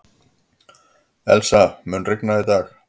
Elsie, mun rigna í dag?